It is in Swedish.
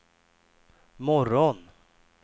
morgon